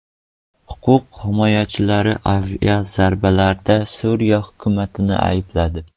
Huquq himoyachilari aviazarbalarda Suriya hukumatini aybladi.